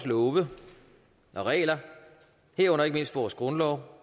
love og regler herunder ikke mindst vores grundlov